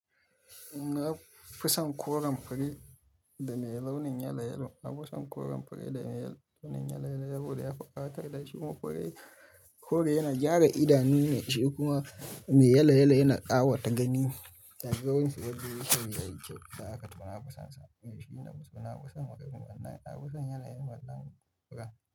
Na fi son koren fure da mai launin yelayelo. Na fi son koren fure da mai launin yelayelo saboda ya fi ƙawatar da shi kuma kore yana gyara idanu ne shi kuma mai yelayelo yana ƙawata gani. Ta yanzu wasu ba su ji shi mai kyau, sa'ad aka taba na kusan sam. Eh shi nafiso na fison makafi, amma na fison yanayin wannan furen.